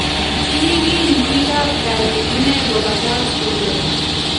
Kiigil bikab kaanyi ine kobabakach kuulet